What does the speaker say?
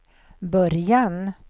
början